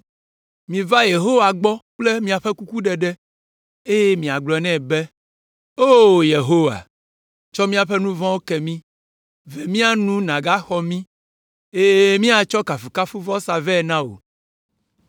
Miva Yehowa gbɔ kple miaƒe kukuɖeɖe, eye miagblɔ nɛ be, “O Yehowa, tsɔ míaƒe nu vɔ̃wo ke mí. Ve mía nu nàgaxɔ mí, eye míatsɔ kafukafuvɔsa vɛ na wò.